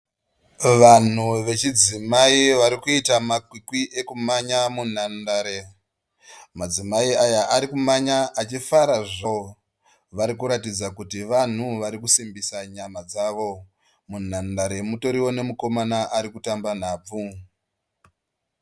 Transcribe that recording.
Vanhu vechidzimai varikuita makwikwi ekumanya munhandare. Madzimai aya arikumhanya achifarazvo. Varikuratidza kuti Vanhu varikusimbisa nyama dzavo. Munhandare mutoriwo nemukomana ari kutamba nhabvu.